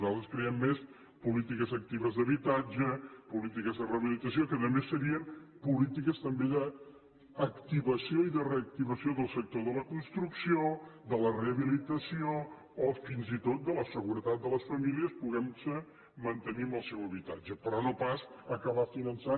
nosaltres creiem més en polítiques actives d’habitatge polítiques de rehabilitació que a més serien polítiques també d’activació i de reactivació del sector de la construcció de la rehabilitació o fins i tot de la seguretat de les famílies podent se mantenir en el seu habitatge però no pas acabar finançant